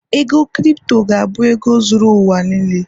ego crypto ga-abụ ego zuru ụwa n'lee